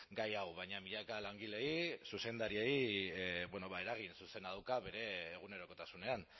gai hau baina milaka langileei zuzendariei eragin zuzena dauka bere egunerokotasunean